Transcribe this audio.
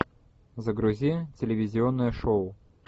загрузи телевизионное шоу